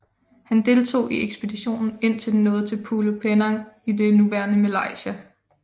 Han deltog i ekspeditionen indtil den nåede til Pulo Penang i det nuværende Malaysia